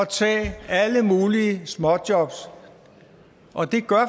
tage alle mulige småjobs og det gør